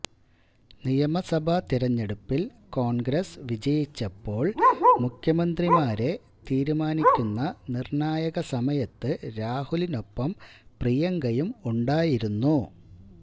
നിയമസഭാ തെരഞ്ഞെടുപ്പില് കോണ്ഗ്രസ് വിജയിച്ചപ്പോള് മുഖ്യമന്ത്രിമാരെ തീരുമാനിക്കുന്ന നിര്ണായക സമയത്ത് രാഹുലിനൊപ്പം പ്രിയങ്കയും ഉണ്ടായിരുന്നു